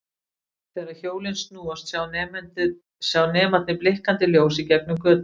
Þegar hjólin snúast sjá nemarnir blikkandi ljós í gegnum götin.